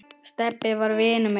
Stebbi var vinur minn.